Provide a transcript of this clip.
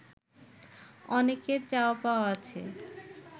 অনেকের চাওয়া পাওয়া আছে